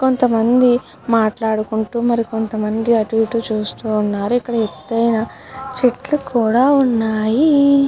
కొంత మంది మాట్లాడుకుంటూ కొంత మంది అటు ఇటు చూస్తు ఉన్నారు. ఇక్కడ ఎక్కువ చేతుల్లు కూడా ఉన్నాయి.